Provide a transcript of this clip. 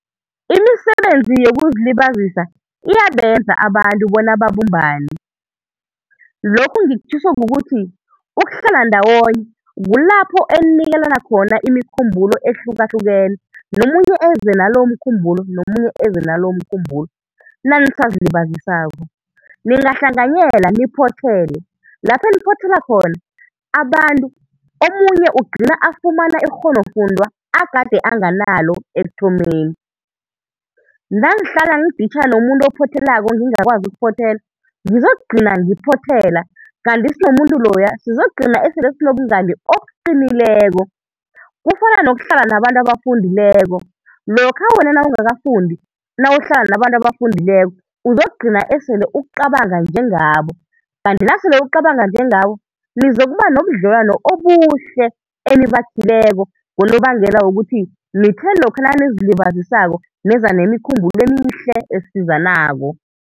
Imisebenzi yokuzilibazisa iyabenza abantu bona babumbane, lokhu ngikutjhiso ukuthi ukuhlala ndawonye kulapha eninikelana khona imikhumbulo ehlukahlukeneko nomunye eze nalo umkhumbulo, nomunye eze nalo umkhumbulo nanisazilibazisako. Ningahlanganyeela niphothele, lapha eniphothelela khona abantu, omunye ugcina afumana ikghonofundwa agade anganalo ekuthomeni. Nangihla ngiditjha nomuntu ophothelako ngingakwazi ukuphothela ngizokugcina ngiphothela kanti sinomuntu loya sizokugcina sele sinobungani obuqinileko. Kufana nokuhlala nabantu abafundileko, lokha wena nawungakafundi, nawuhlala nabantu abafundileko uzokugcina sele ucabanga njengabo, kanti nasele ucabanga njengabo nizokuba nobudlelwano obuhle enibakhileko, ngonobangela wokuthi nithe lokha nanizilibazisako neza nemikhumbulo emihle esizanako.